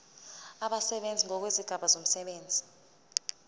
abasebenzi ngokwezigaba zomsebenzi